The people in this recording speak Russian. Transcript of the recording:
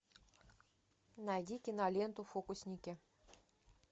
найди киноленту фокусники